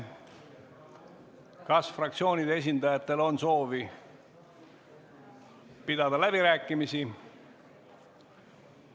Kas fraktsioonide esindajatel on soovi pidada läbirääkimisi?